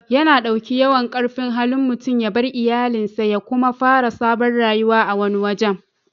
Ya na dauki yawan karfin Hali mutum ya bar iyallin sa ya kuma fara sabon rayuwa a wani waje.